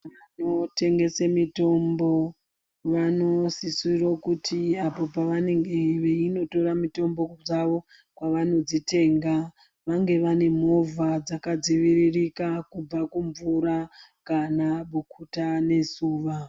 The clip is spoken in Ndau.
Vanotengese mitombo vanosisiro kuti apo pavanenge veyinotora mitombo dzavo kwavanodzitenga, vange vanemovha dzakadziviririka kubva kumvura kana bukuta nezuva.